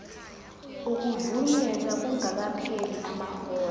ukuvunyelwa kungakapheli amahora